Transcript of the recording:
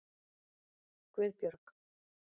Guðbjörg